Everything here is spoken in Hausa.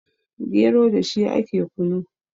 gero da shi ake kunu